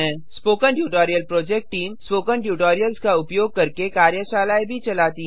spoken tutorial project team spoken tutorials का उपयोग करके कार्यशालाएँ भी चलाती है